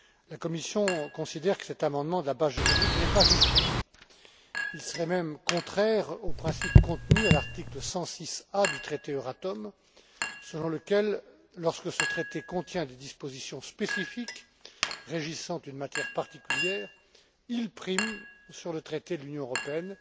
La Commission considère que cet amendement à la base juridique n'est pas justifié. Il serait même contraire au principe contenu à l'article 106 bis du traité Euratom, selon lequel lorsque ce traité contient des dispositions spécifiques régissant une matière particulière, il prime sur le traité de l'Union européenne